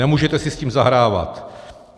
Nemůžete si s tím zahrávat.